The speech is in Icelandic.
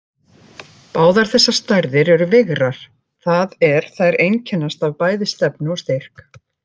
Báðar þessar stærðir eru vigrar, það er þær einkennast af bæði stefnu og styrk.